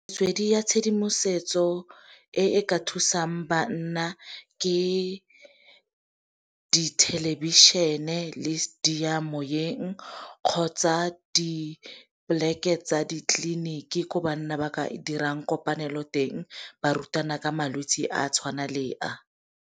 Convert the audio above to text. Metswedi ya tshedimosetso e e ka thusang banna ke dithelebišeneng le diyamoyeng kgotsa di-plek-e tsa ditleliniki, ko banna ba ka dirang kopanelo teng barutwana ka malwetsi a tshwana leo a.